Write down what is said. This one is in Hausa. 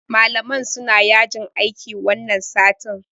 Malaman suna yajin aiki wannan satin.